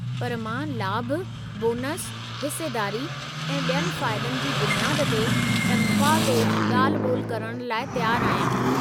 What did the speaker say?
पर मां लाभु, बोनसु, हिस्सेदारी, ऐं ॿियनि फ़ाइदनि जी बुनियाद ते तनख़्वाह ते ॻाल्हि-ॿोल करणु लाइ तयारु आहियां।